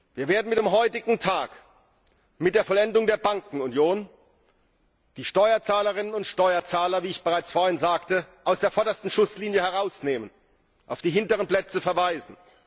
Wir werden mit dem heutigen Tag mit der Vollendung der Bankenunion die Steuerzahlerinnen und Steuerzahler wie ich bereits vorhin sagte aus der vordersten Schusslinie herausnehmen, sie auf die hinteren Plätze verweisen.